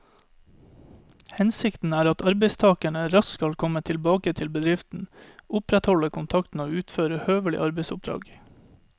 Hensikten er at arbeidstakeren raskt skal komme tilbake i bedriften, opprettholde kontakten og utføre høvelige arbeidsoppdrag.